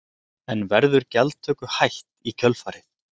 En verður gjaldtöku hætt í kjölfarið?